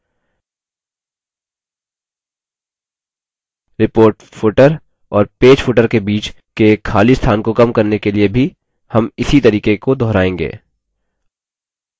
report footer और page footer के बीच के खाली स्थान को कम करने के लिए भी हम इसी तरीके को दोहराएँगे